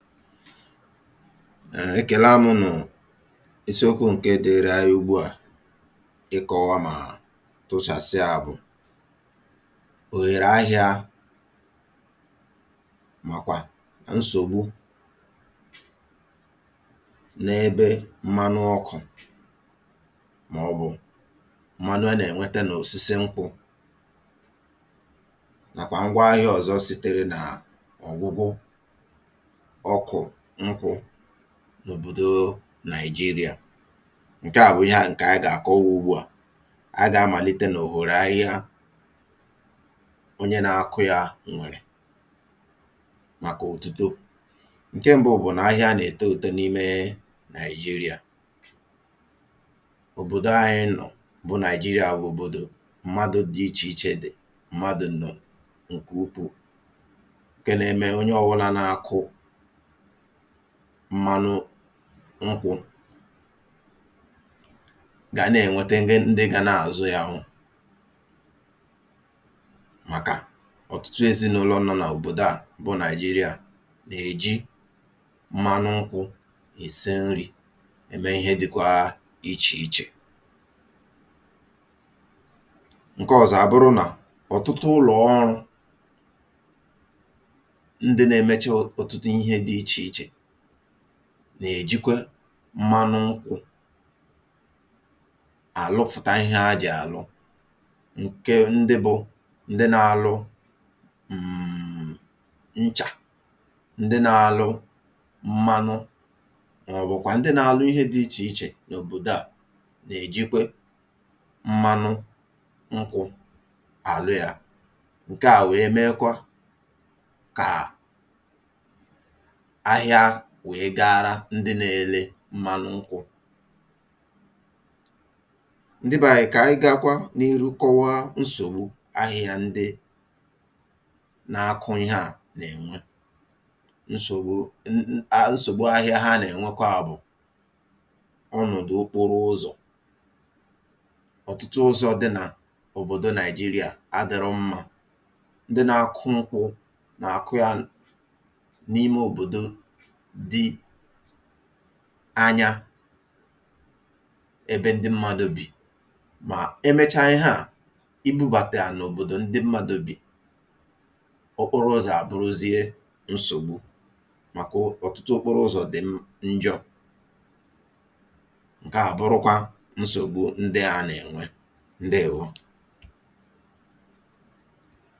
um Ekèla mụnụ̀, isiokwu̇ ǹke dịịrị anyị ugbu à ịkọ̇wa mà tụsasịa bụ̀ òghère ahịȧ màkwà nsògbu n’ebe mmanụ ọkụ̀ màọ̀bụ̀ mmanụ a nà-ènwete nà osisi nkwụ̇ nàkwà ngwa ahịa ọ̀zọ sitere nà ọ̀gwụgwụ ọkụ nkwụ n’òbòdo Nàịjirịa. Nke à bụ̀ ihe à ǹkè a gà-àkọwụ ugbu à. A gà-amàlite nà òhòrò ahịhịa onye nȧ-akụ̇ ya nwèrè màkà òtùto. Nke ṁbụ̇ bụ̀ nà ahịa nà-èto òtùto n’imė Nàịjirịa, òbòdo anyị nọ̀ bụ̀ Nàịjirịa bụ̀ òbòdò mmadụ̇ dị ichè ichè dị̀ mmadụ̀ ǹnọ̀ nkè ukwuu ǹkè n’eme onye ọwụna na-akụ̇ mmanụ nkwụ̇ gà nà-ènwete ndị ga na-àzụ ya hụ màkà ọ̀tụtụ ezinaụlọ̇ nọ n’òbòdò a bụ Nàịjịrịa nà-èji mmanụ nkwụ̇ èse nri̇, eme ihe dị̇kwȧ ichè ichè. Nke ọzọ abụrụ na ọtụtụ ụlọ ọrụ, ndị na-emecha ọtụtụ ihe dị iche iche, nà-èjikwe mmanụ nkwụ̇ àlụfụ̀ta ihe ajị̀ àlụ, ǹke ndị bụ̇ ndị na-alụ um nchà, ndị na-alụ mmanụ, maọbụkwa ndị na-alụ ihe dị iche iche n'obodo a nà-èjikwe mmanụ nkwụ àlụ yȧ. Nke à wee mekwa kà ahịa wee gaara ndị na-ele mmalụ nkwụ̇. Ndị beanyị kà anyị gȧkwa niru kọwaa nsògbu ahịa ndị na-akụ ihė à nà-ènwe. Nsògbu um ahịa ha nà-ènweka bụ̀ ọnụ̀dụ̀ okporụ ụzọ̀. Ọtụtụ ụzọ̇ dị nà òbòdo Nàịjịrịa adịrọ mmȧ. Ndị na-akụ nkwụ nà àkụ ya n’ime òbòdo dị anyȧ ebe ndị mmadụ bì. Mà emechaa ihe à, ibu̇bàta yà n’òbòdò ebe ndị mmadụ bì, okporụ ụzọ̀ àbụrụzie nsògbu, màkà ọ̀tụtụ okporụ ụzọ̀ dị̀ njọ, ǹke à bụrụkwa nsògbu ndị a nà-ènwe. Ndewo.